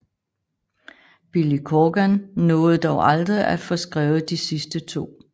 Billy Corgan nåede dog aldrig at få skrevet de sidste to